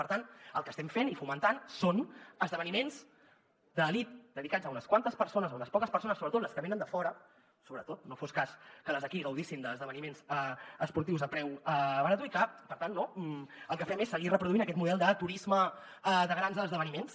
per tant el que estem fent i fomentant són esdeveniments d’elit dedicats a unes quantes persones a unes poques persones sobretot les que venen de fora sobretot no fos cas que les d’aquí gaudissin d’esdeveniments esportius a preu barat i per tant el que fem és seguir reproduint aquest model de turisme de grans esdeveniments